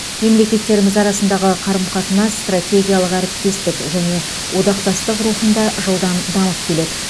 мемлекеттеріміз арасындағы қарым қатынас стратегиялық әріптестік және одақтастық рухында жылдам дамып келеді